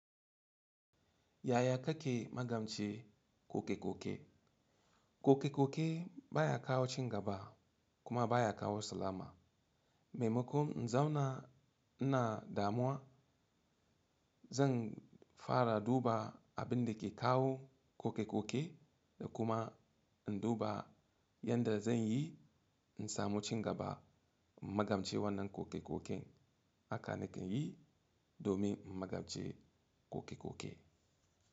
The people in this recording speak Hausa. Yaya ka ke magance koke-koke? Koke-koke baya kawo cingaba kuma baya kawo salama. Mai makon, in zauna ina damuwa, zan fara duba abin da ke kawo koke-koke da kuma in duba yadda zan yi in samu cingaba in magance wannan koke-koke Haka nake yi domin in magance koke-koke.